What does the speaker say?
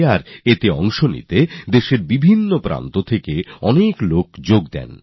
আর এই ব্রহ্মপুত্র পুষ্করে যোগ দেওয়ার জন্য দেশের ভিন্ন ভিন্ন অংশ থেকে অনেক মানুষ সেখানে হাজির হয়েছিলেন